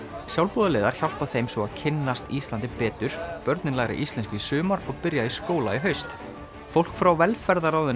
sjálfboðaliðar hjálpa þeim svo að kynnast Íslandi betur börnin læra íslensku í sumar og byrja í skóla í haust fólk frá velferðarráðuneytinu